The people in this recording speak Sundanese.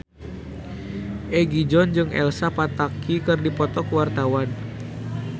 Egi John jeung Elsa Pataky keur dipoto ku wartawan